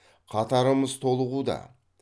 қатарымыз толығуда